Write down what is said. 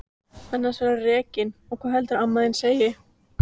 Annars verðurðu rekinn og hvað heldurðu að amma þín segi!